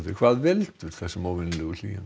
hvað veldur þessum óvenjulegu hlýindum